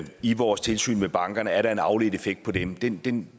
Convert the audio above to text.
i vores tilsyn med bankerne er der en afledt effekt af dem den den